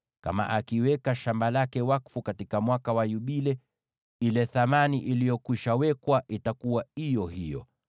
Kama akiweka shamba lake wakfu katika Mwaka wa Yubile, ile thamani iliyokwisha wekwa itakuwa iyo hiyo.